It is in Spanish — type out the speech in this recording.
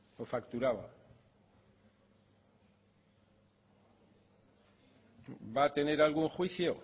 o facturaba va a tener algún juicio